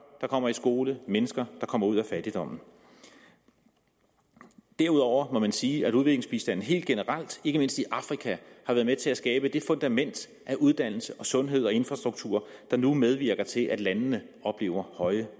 der kommer i skole der er mennesker der kommer ud af fattigdom derudover må man sige at udviklingsbistanden helt generelt ikke mindst i afrika har været med til at skabe det fundament for uddannelse sundhed og infrastruktur der nu medvirker til at landene oplever høje